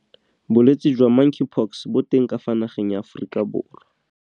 Bolwetse jwa Monkeypox bo teng ka fa nageng ya Aforika Borwa.